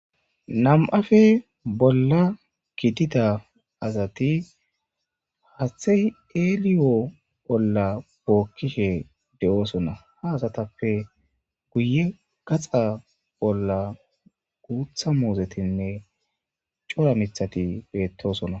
Namappe bolla giddida asati haathayi eliyo olla bookishe de'ossona. Ha asatappe guyye ollan guutta muzetinne cora mithati bettosona.